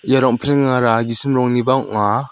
ia rong·plengara gisim rongniba ong·a.